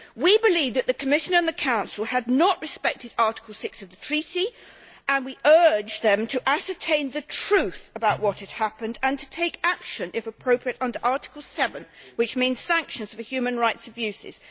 We believed that the Commission and the Council had not respected Article 6 of the Treaty and we urged them to ascertain the truth about what had happened and to take action if appropriate under Article 7, which means sanctions of human rights abuses.